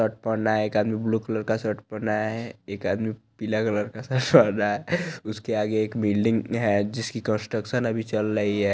Shirt पहना है एक आदमी ब्लू कलर का शर्ट पहना है एक आदमी पीला कलर की शर्ट पहना है उसके आगे एक बिल्डिंग है जिसकी कंस्ट्रक्शन अभी चल रही है।